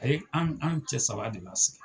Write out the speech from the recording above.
Ayi an an cɛ saba de b'a sigi.